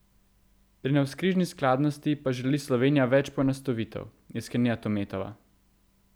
Pri navzkrižni skladnosti pa želi Slovenija več poenostavitev, je sklenila Tometova.